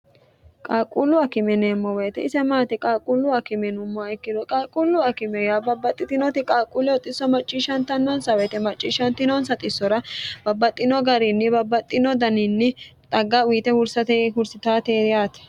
qaalquullu akimeneemmo woyite isemaati qaalquullu akimenummoa ikkiru qaalquullu akime ya babbaxxitinoti qaalquulle oxxisso macciishshantannonsa woyite macciishshantinoonsa xissora babbaxxino gariinni babbaxxino daniinni xagga uyite hursate hursitaateeriyaate